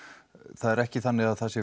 það er ekki þannig að